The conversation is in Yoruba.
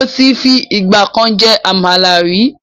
Mo tí fi ìgbàkan jẹ Àmàlà ríi